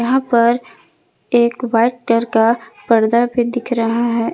यहां पर एक वाइट कलर का पर्दा भी दिख रहा है।